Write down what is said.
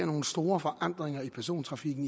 nogle store forandringer i persontrafikken